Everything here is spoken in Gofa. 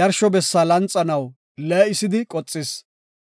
yarsho bessa lanxanaw lee7isidi qoxis.